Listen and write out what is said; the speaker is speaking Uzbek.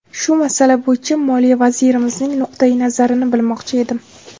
Shu masala bo‘yicha Moliya vazirimizning nuqtayi nazarini bilmoqchi edim”.